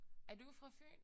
Er du fra Fyn?